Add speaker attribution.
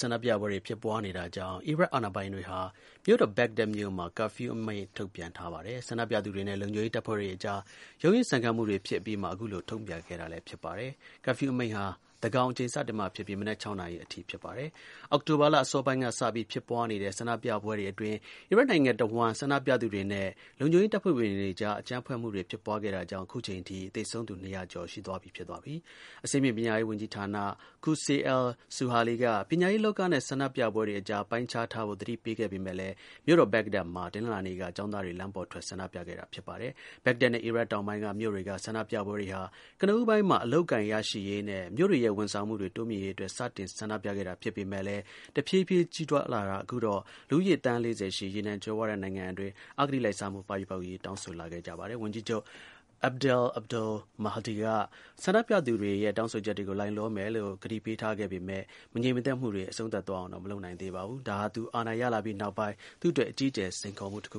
Speaker 1: ဆန္ဒပြပွဲတွေဖြစ်ပွားနေတာကြောင့် အီရတ် အာဏာပိုင်တွေဟာ မြို့တော် ဘက်ဂဒက်မြို့မှာ curfew အမိန့် ထုတ်ပြန် ထားပါတယ်။ ဆန္ဒပြသူတွေနဲ့ လုံခြုံရေးတပ်ဖွဲ့တွေအကြား ရုန်းရင်းဆန်ခတ်မှုတွေ ဖြစ်အပြီးမှာ အခုလို ထုတ်ပြန်ခဲ့တာလည်း ဖြစ်ပါတယ်။ curfew အမိန့်ဟာ သန်းခေါင်အချိန် စတင်မှာဖြစ်ပြီး မနက် ၆ နာရီမှာအထိ ဖြစ်ပါတယ်။ အောက်တိုဘာလ အစောပိုင်းက စပြီး ဖြစ်ပွားနေတဲ့ ဆန္ဒပြပွဲတွေအေတွင်း အီရတ်နိုင်ငံ တစ်ဝှမ်း ဆန္ဒပြသူတွေနဲ့ လုံခြုံရေးတပ်ဖွဲ့ဝင်တွေကြား အကြမ်းဖက်မှု ဖြစ်ပွားတာကြောင့် ခုချိန်ထိ သေဆုံးသူ ၂၀၀ ကျော်သွားပြီဖြစ်ပါတယ်။ အဆင့်မြင့်ပညာရေးဌာနဝန်ကြီး Qusay al-Suhali က ပညာရေးလောကနဲ့ ဆန္ဒပြပွဲတွေ အကြား ပိုင်းခြားထားဖို့ သတိပေးခဲ့ပေမဲ့လည်း မြို့တော် ဘက်ဂဒက်မှာ တနင်္လာနေ့က ကျောင်းသားတွေ လမ်းပေါ်ထွက် ဆန္ဒပြခဲ့တာ ဖြစ်ပါတယ်။ ဘက်ဂဒက်နဲ့ အီရတ် တောင်ပိုင်းက မြို့တွေက ဆန္ဒပြပွဲတွေဟာ ကနဦးပိုင်းမှာ အလုပ်အကိုင် ရရှိရေးနဲ့ မြို့တွေရဲ့ ဝန်ဆောင်မှုတွေ တိုးမြှင့်ရေး အတွက် စတင် ဆန္ဒပြခံတာဖြစ်ပေမဲ့ တစ်ဖြည်းဖြည်း ကြီးထွားလာပြီး အခုတာ့ လူဦးရေး သန်း ၄၀ ရှိ ရေနံ ကြွယ်ဝတဲ့နိုင်ငံအတွင်း အဂတိလိုက်စားမှု ပပျောက်ရေး တောင်းဆိုလာခဲ့ကြပါတယ်။ ဝန်ကြီးချုပ် Abdel Abdul-Mahdi က ဆန္ဒပြသူတွေရဲ့ တောင်းဆိုချက်တွေကို လိုက်လျောမယ်လို့ ကတိပေးထားခဲ့ပေမဲ့ မငြိမ်မသက်မှုတွေ အဆုံးသတ်သွားအောင် မလုပ်နိုင်ခဲ့ပါဘူး။ ဒါဟာ သူအာဏာရလာပြီးနောက်ပိုင်း သူ့အတွက် အကြီးအကျယ် စိန်ခေါ်မှုတစ်ခ